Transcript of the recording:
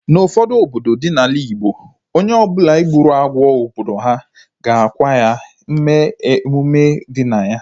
N'ufodu obodo dị n'ala igbo, onye ọbụla gburu agwọ obodo ha ga-akwa ya, mee emume dị na ya